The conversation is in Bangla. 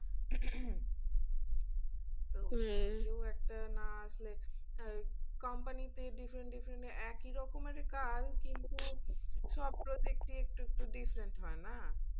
তো একটা না আসলে company তে different different একই রকমেরই কাজ কিন্তু সব project ই একটু একটু different হয়না?